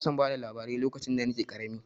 Ina son bada labarai lokacin da nake ƙarami.